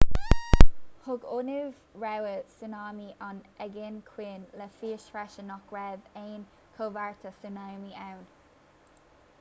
thug ionad rabhaidh súnámaí an aigéin chiúin le fios freisin nach raibh aon chomhartha súnámaí ann